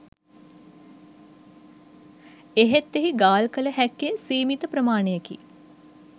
එහෙත් එහි ගාල් කළ හැක්කේ සීමිත ප්‍රමාණයකි